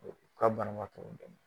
Ka bana na